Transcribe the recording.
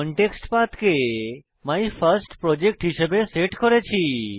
contextPath কে my first project হিসাবে set করেছি